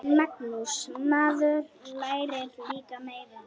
Magnús: Maður lærir líka meira.